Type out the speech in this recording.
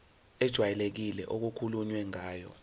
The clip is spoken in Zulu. ejwayelekile okukhulunywe ngayo